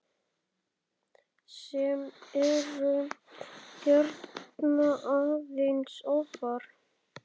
sem eru hérna aðeins ofar.